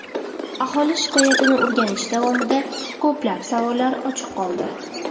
Aholi shikoyatini o‘rganish davomida ko‘plab savollar ochiq qoldi.